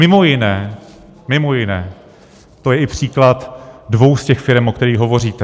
Mimo jiné, mimo jiné to je i příklad dvou z těch firem, o kterých hovoříte.